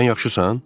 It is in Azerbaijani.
Sən yaxşısan?